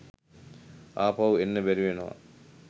ආපහු එන්න බැරිවෙනව